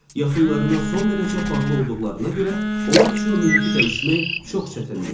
Yaxınlarına son dərəcə bağlı olduqlarına görə onlar üçün mühiti dəyişmək çox çətindir.